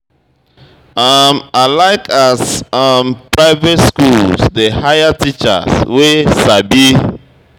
um I like as um private skools dey hire young teachers wey sabi